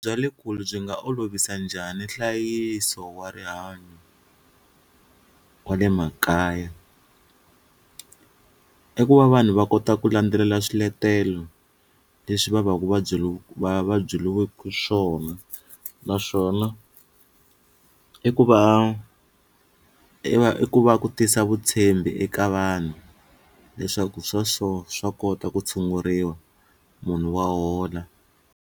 Bya le kule byi nga olovisa njhani nhlayiso wa rihanyo wa le makaya i ku va vanhu va kota ku landzelela swiletelo leswi va va ku va byeliwaku swona naswona i ku va i va i ku va ku tisa vutshembi eka vanhu leswaku swa so swa kota ku tshunguriwa munhu wa hola.